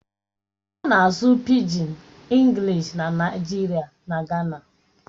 A na-asụ Pịgin Englịshi na Naịjirịa na Gana.